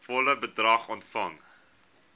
volle bedrag ontvang